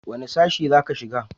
wani sashi za ka shiga